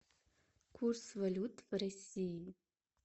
курс валют в россии